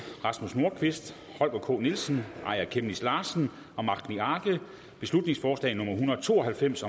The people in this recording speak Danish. rasmus nordqvist holger k nielsen aaja chemnitz larsen og magni arge beslutningsforslag nummer b en hundrede og to og halvfems